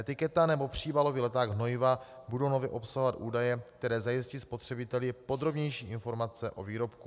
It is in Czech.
Etiketa nebo příbalový leták hnojiva budou nově obsahovat údaje, které zajistí spotřebiteli podrobnější informace o výrobku.